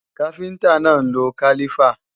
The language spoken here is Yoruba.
Káfíntá náà ń lo kálífà